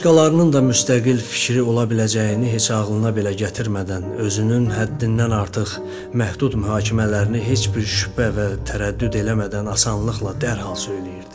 O başqalarının da müstəqil fikri ola biləcəyini heç ağılına belə gətirmədən özünün həddindən artıq məhdud mühakimələrini heç bir şübhə və tərəddüd eləmədən asanlıqla dərhal söyləyirdi.